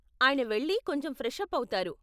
ఆయన వెళ్లి కొంచెం ఫ్రెష్ అప్ అవుతారు.